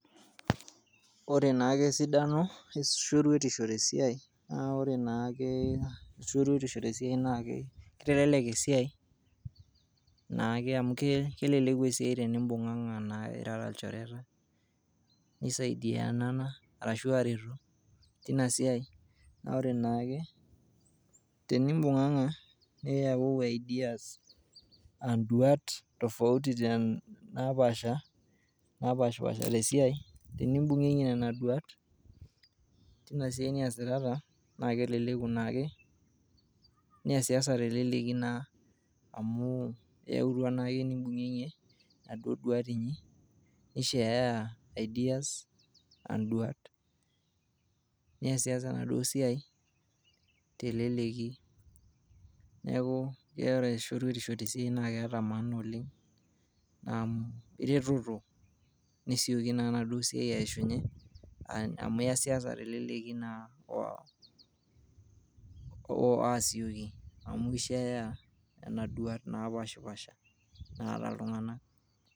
ore naake esidano eshoruetisho tesiai naa ore naake shoruetisho tesiai naake kitelelek esiai naake amu keleleku esiai tenimbung'ang'a naa irara ilchoreta nisaidianana arashu areto tina siai naa ore naake tenimbung'ang'a niyauwu ideas uh, induat tofauti ten napaasha, napashipasha tesiai tenimbung'ieng'ie nena duat tina siai niyasitata naa keleku naake niyasiyasa teleleki naa amu iyautua naake nimbung'ieng'ie inaduo duat inyi nisheyaya ideas anduat niyasiyasa enaduo siai teleleki niaku ore shoruetisho tesiai naa keeta maana oleng amu ireteto nesioki naaa enaduo siai aishunye amu iyasiyasa teleleki naa oh, asioki amu kisheyaya nana duat napashipasha naata iltung'anak.